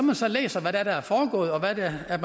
jeg så læser hvad der er foregået og hvad der er